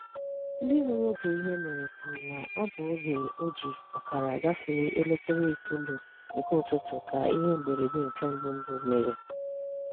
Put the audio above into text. Ndị hụrụ oge ihe mere kwuru na ọ bụ oge o ji ọkara gafee elekere itoolu nke ụtụtụ ka ihe mberede nke mbụ mbụ mere.